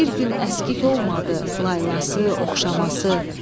Bir gün əskik olmadı laylası, oxşaması.